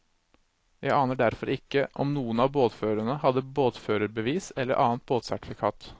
Jeg aner derfor ikke om noen av båtførerne hadde båtførerbevis eller annet båtsertifikat.